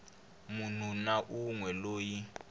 munhu na un we loyi